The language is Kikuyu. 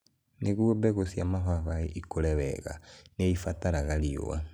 Nĩguo mbegũ cia mababaĩ ikũre wega, nĩ ibataraga riũa.